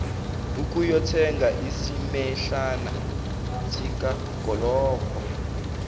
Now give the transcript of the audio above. ukuyothenga isimehlana sikagologo